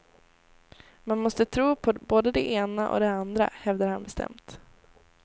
Man måste tro på både de ena och de andra, hävdar han bestämt.